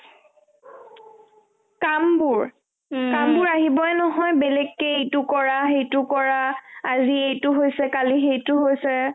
কামবোৰ কামবোৰ আহিবৈ নহয় বেলেকে এইটো কৰা সেইটো কৰা আজি এইটো হৈছে কালি সেইটো হৈছে